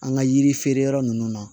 An ka yiri feere yɔrɔ ninnu na